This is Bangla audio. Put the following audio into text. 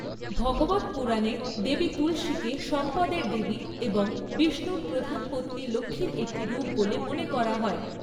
ভগবত পুরাণে দেবী তুলসীকে সম্পদের দেবী এবং বিষ্ণুর প্রধান পত্নী লক্ষ্মীর একটি রূপ বলে মনে করা হয়।